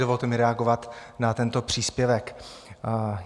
Dovolte mi reagovat na tento příspěvek.